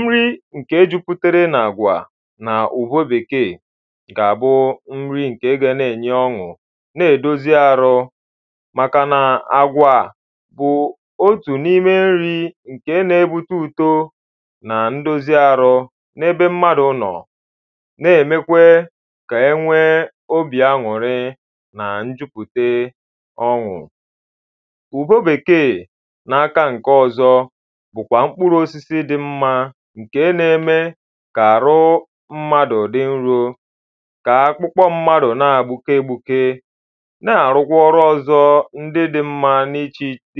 Nri ǹke jùpùtere n’agwà na ùwo bèkēē gà-àbụ nri ǹke ga n’enyè ọṅụ nà-èdòzi arụ màkànà àgwà bụ otù n’ime nri nke na-ebute ùdo na ndòzi arụ n’ebe mmadu nọ na-emekwe ka enwee obì aṅụ̀rị nà ǹjùpùte ọṅụ ùwo bèkēē n’aka ǹkè ọ̀zọ bụ̀kwà mkpụrụ osisi dị mma ǹke n’eme kà-àrụ mmadụ̀ ụ̀dị nrù ka akwụkwọ mmadụ na-egbuke egbukē na àrụ̀kwa ọrụ ọzọ ndị dị mmā dị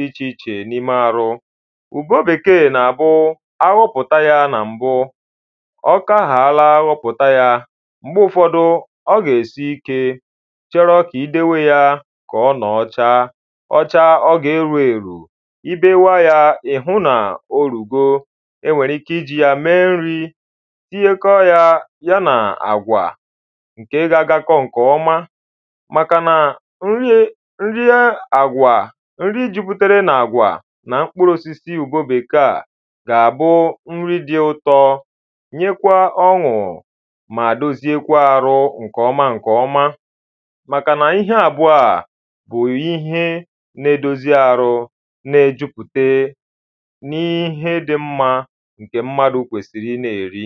ichèìche n’ime àrụ ùgo bèkee nà-àbụ aghụpụta ya na m̀bụ ọkahala, aghụpụta ya m̀gbe ụfọ̄dụ ọ gà-èsi ikē chọrọ ka idewe ya ka ọ nọọ chaa, ọ chaa ọ ga-èrù èrù ibewaa yā ị̀hụ na orùgō enwere ikē ijì ya mee nrī tinye kọọ yā, ya nà àgwà ǹke ga-agakọ nkeọmā màkàna nri àgwà nri juputere nà àgwà nà mkpụrụ̄ōsisi ugō bèkee ā gà-àbụ nri dị ụ̀tọ nyekwa oṅụ̀ mà dòzikwaa arụ ǹkọ̄ma ǹkọ̄ma màkànà ihe àbụ̀ọ̀ a bụ̀ ihe na-edozi àrụ na ejupute n’ihe dị mmā ǹkè mmadụ̀ kwèsị̀rị̀ ị n’èri